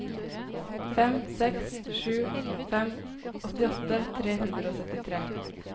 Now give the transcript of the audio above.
fem seks sju fem åttiåtte tre hundre og syttitre